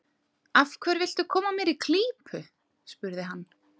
Af hverju viltu koma mér í klípu? spurði hann.